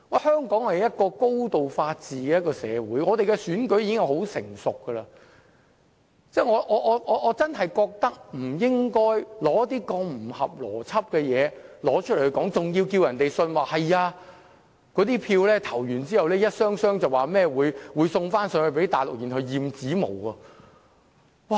香港是高度法治的社會，我們的選舉亦已相當成熟，我認為真的不應該提出如此不合邏輯的說法，並要求大家相信在選舉結束後，一箱箱選票便會運回內地以便驗指模。